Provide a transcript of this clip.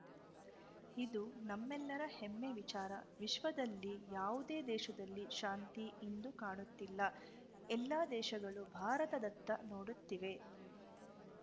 ಇದು ನಮ್ಮೆಲರ ಹೆಮ್ಮೆ ವಿಚಾರ ವಿಶ್ವದಲ್ಲಿ ಯಾವುದೇ ದೇಶದಲ್ಲಿ ಶಾಂತಿ ಇಂದು ಕಾಣುತ್ತಿಲ್ಲ ಎಲ್ಲ ದೇಶಗಳು ಭಾರತದತ್ತ ನೋಡುತ್ತಿವೆ